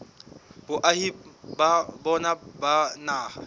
boahi ba bona ba naha